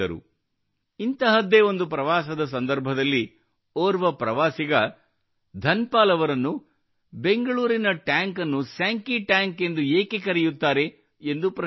ಇಂತಹದ್ದೇ ಒಂದು ಪ್ರವಾಸದ ಸಂದರ್ಭದಲ್ಲಿ ಓರ್ವ ಪ್ರವಾಸಿಗ ಧನ್ ಪಾಲ್ ಅವರನ್ನು ಬೆಂಗಳೂರಿನ ಟ್ಯಾಂಕ್ ಅನ್ನು ಸ್ಯಾಂಕಿ ಟ್ಯಾಂಕ್ ಎಂದು ಏಕೆ ಕರೆಯುತ್ತಾರೆಂದು ಪ್ರಶ್ನಿಸಿದರು